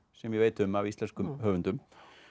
sem ég veit um af íslenskum höfundum